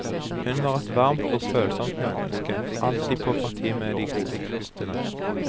Hun var et varmt og følsomt menneske, alltid på parti med de gode kreftene.